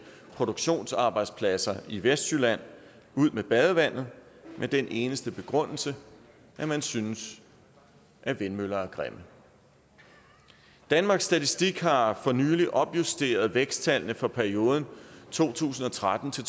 produktionsarbejdspladser i vestjylland ud med badevandet med den eneste begrundelse at man synes vindmøller er grimme danmarks statistik har for nylig opjusteret væksttallene for perioden to tusind og tretten til